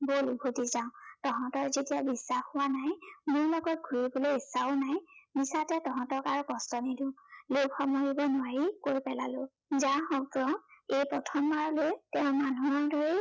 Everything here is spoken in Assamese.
বল উভটি যাওঁ। তহঁতৰ যেতিয়া বিশ্বাস হোৱা নাই, মোৰ লগত ঘুৰিবলৈ ইচ্ছাও নাই, মিছাতে তহঁতক আৰু কষ্ট নিদিও। সামৰিব নোৱাৰি কৈ পেলালো, যা হওঁক জয়, এই প্ৰথমবাৰলৈ তই মানুহৰ দৰে